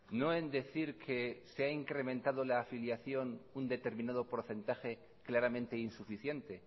no en decir que se ha incrementado la afiliación un determinado porcentaje claramente insuficiente